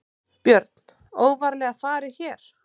Björn: Óvarlega farið hér?